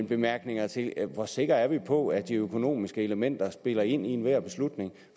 bemærkninger til hvor sikre vi er på at de økonomiske elementer spiller ind i enhver beslutning